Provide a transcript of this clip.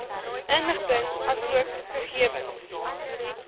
inligting asook gegewens